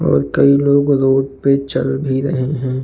और कोई लोग रोड पे चल भी रहे हैं।